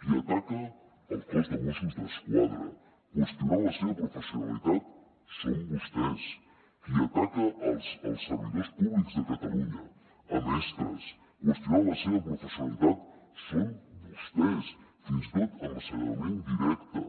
qui ataca el cos de mossos d’esquadra qüestionant la seva professionalitat són vostès qui ataca els servidors públics de catalunya mestres qüestionant la seva professionalitat són vostès fins i tot amb l’assenyalament directe